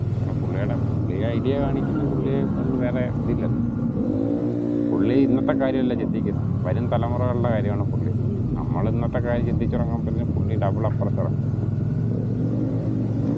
കാരണം പുള്ളിടെ പുള്ളി idea കാണിക്കുന്നു പുള്ളി വേറെ ഇതില്ലല്ലോ പുള്ളി ഇന്നത്തെ കാര്യല്ല ചിന്തിക്കുന്നേ വരും തലമുറകളുടെ കാര്യാണ് പു ള്ളി നമ്മളിന്നത്തെ കാര്യം ചിന്തിച്ചുറങ്ങുമ്പോൾ പിന്നെ പുള്ളി double അപ്പുറതാണ്